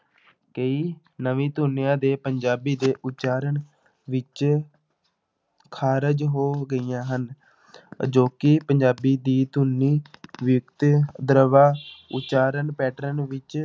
ਕਈ ਨਵੀਂ ਧੁਨੀਆਂ ਦੇ ਪੰਜਾਬੀ ਦੇ ਉਚਾਰਨ ਵਿੱਚ ਖਾਰਿਜ ਹੋ ਗਈਆਂ ਹਨ ਅਜੋਕੀ ਪੰਜਾਬੀ ਦੀ ਧੁਨੀ ਉਚਾਰਨ pattern ਵਿੱਚ